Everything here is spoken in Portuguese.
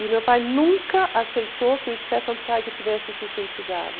E meu pai nunca aceitou que o Stefan Zweig tivesse se suicidado.